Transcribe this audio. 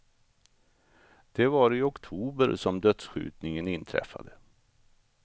Det var i oktober som dödsskjutningen inträffade.